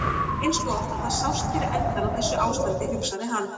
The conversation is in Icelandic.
Eins gott að það sást fyrir endann á þessu ástandi, hugsaði hann.